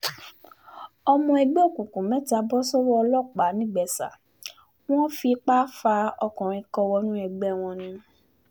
ọmọ ẹgbẹ́ òkùnkùn mẹ́ta bọ́ sọ́wọ́ ọlọ́pàá nìgbésa wọn fipá fa ọkùnrin kan wọnú ẹgbẹ́ wọn ni